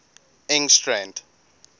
engstrand